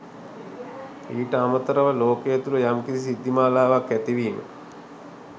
ඊට අමතරව ලෝකය තුළ යම් කිසි සිද්ධිමලාවක් ඇතිවීම